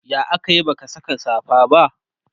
ya akayi baka Saka safa ba?